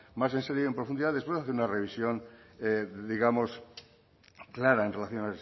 más en serio y en profundidad después hacer una revisión digamos clara en relación